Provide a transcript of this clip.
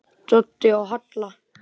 Doddi og Halla!